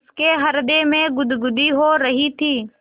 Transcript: उसके हृदय में गुदगुदी हो रही थी